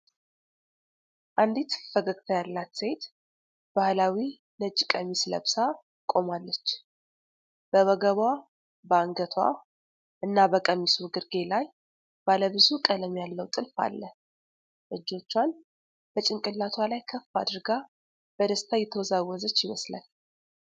አንዲት ፈገግታ ያላት ሴት ባህላዊ ነጭ ቀሚስ ለብሳ ቆማለች። በወገቧ፣ በአንገቷ እና በቀሚሱ ግርጌ ላይ ባለ ብዙ ቀለም ያለው ጥልፍ አለ። እጆቿን በጭንቅላቷ ላይ ከፍ አድርጋ በደስታ እየተወዛወዘች ይመስላል።